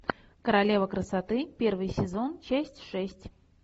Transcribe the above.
королева красоты первый сезон часть шесть